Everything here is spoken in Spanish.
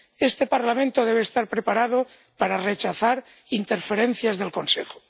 Este Parlamento debe estar preparado para rechazar interferencias del Consejo.